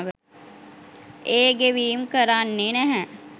ඒ ගෙවීම් කරන්නෙ නැහැ.